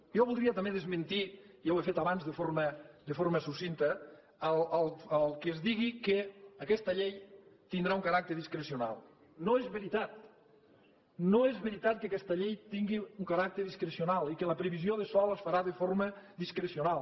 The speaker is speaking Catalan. jo voldria també desmentir ja ho he fet abans de forma succinta que es digui que aquesta llei tindrà un caràcter discrecional no és veritat no és veritat que aquesta llei tingui un caràcter discrecional i que la previsió de sòl es farà de forma discrecional